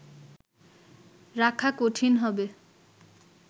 রাখা কঠিন হবে